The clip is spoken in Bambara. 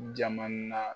Jaman na